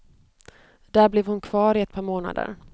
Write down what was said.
Där blev hon kvar i ett par månader.